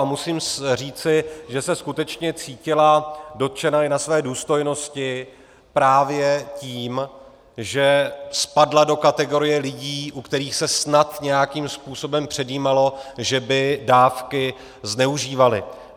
A musím říci, že se skutečně cítila dotčena i ve své důstojnosti právě tím, že spadla do kategorie lidí, u kterých se snad nějakým způsobem předjímalo, že by dávky zneužívali.